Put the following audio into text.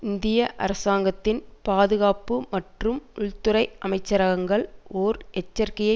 இந்திய அரசாங்கத்தின் பாதுகாப்பு மற்றும் உள்துறை அமைச்சரகங்கள் ஓர் எச்சரிக்கையை